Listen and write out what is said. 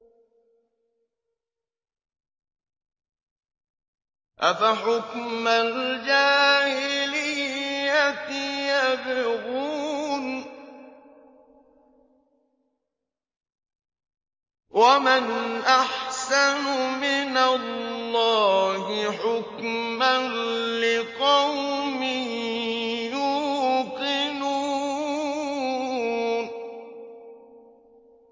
أَفَحُكْمَ الْجَاهِلِيَّةِ يَبْغُونَ ۚ وَمَنْ أَحْسَنُ مِنَ اللَّهِ حُكْمًا لِّقَوْمٍ يُوقِنُونَ